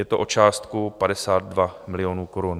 Je to o částku 52 milionů korun.